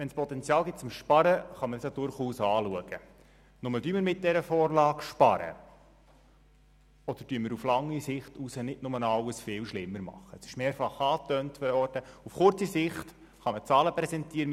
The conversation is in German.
Wenn es ein Potenzial fürs Sparen gibt, kann man das durchaus Zweitens wurde gesagt, die SKOS-Richtlinien seien so von einem Sozialhilfeverein, so von ein paar «Grümscheler» – sorry, der Ausdruck stammt nicht von mir – erarbeitet worden.